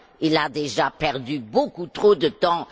Il a déjà perdu beaucoup trop de temps.